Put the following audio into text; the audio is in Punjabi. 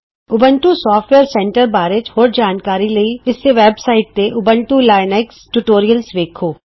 ਊਬੰਤੂ ਸੋਫਟਵੇਅਰ ਸੈਂਟਰ ਬਾਰੇ ਹੋਰ ਜਾਣਕਾਰੀ ਲਈ ਇਸੇ ਵੇਬ ਸਾਈਟ ਤੇ ਊਬੰਤੂ ਲੀਨਕਸ ਟਯੂਟੋਰਿਅਲ ਵੇਖੋ